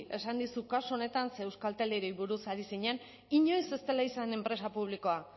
esan dizu kasu honetan ze euskalteli buruz ari zinen inoiz ez dela izan enpresa publikoa